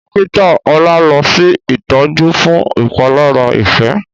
Dọ́kítà ola ló ṣe itọjú fún ìpalára Ife.